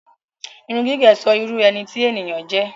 Irun gígẹ̀ sọ irú ẹni tí ènìyàn jẹ́.